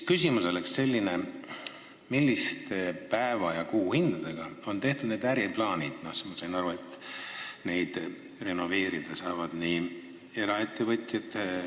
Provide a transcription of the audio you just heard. Ma sain aru, et eraettevõtjad ja omavalitsused saavad hooneid renoveerida, eks ole, CO2 raha eest.